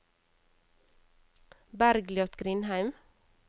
Bergliot Grindheim